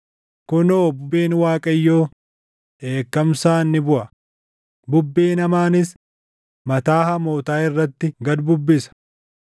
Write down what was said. Kunoo bubbeen Waaqayyoo, dheekkamsaan ni buʼa; bubbeen hamaanis mataa hamootaa irratti gad bubbisa.